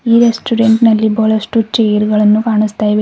ಈ ರೆಸ್ಟೋರೆಂಟ್ ನಲ್ಲಿ ಬಹಳಷ್ಟು ಚೇರುಗಳನ್ನು ಕಾಣುಸ್ತಾ ಇವೆ.